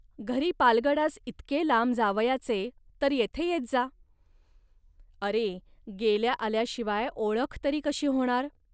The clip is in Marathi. घरी पालगडास इतके लांब जावयाचे, तर येथे येत जा. अरे गेल्याआल्याशिवाय ओळख तरी कशी होणार